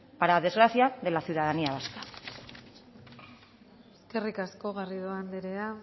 para desgracia de la ciudadanía vasca eskerrik asko garrido anderea